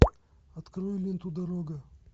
открой менту дорога